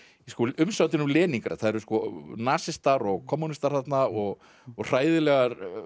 umsátrinu um Leníngrad það eru nasistar og kommúnistar þarna og og hræðilegt